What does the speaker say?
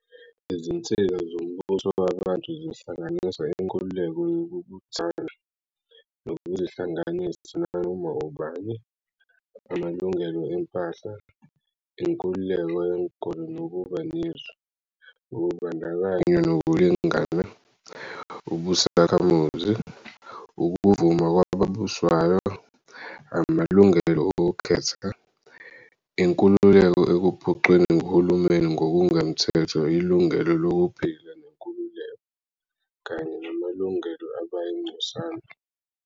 Izinsika zombusowabantu zihlanganisa inkululeko yokubuthana, nokuzihlanganisa nanoma ubani, amalungelo empahla, inkululeko yenkolo nokuba nezwi, ukubandakanywa nokulingana, ubusakhamuzi, ukuvuma kwababuswayo, amalungelo okukhetha, inkululeko ekuphucweni nguhulumeni ngokungemthetho ilungelo lokuphila nenkululeko, kanye namalungelo abayingcosana.